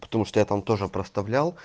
потому что я там тоже простовлял